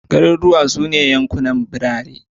Garuruwa su ne yankunan birane